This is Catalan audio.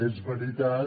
és veritat